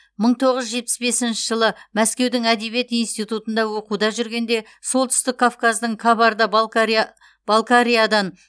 мың тоғыз жүз жетпіс бесінші жылы мәскеудің әдебиет институтында оқуда жүргенде солтүстік кавказдың кабарда балқариядан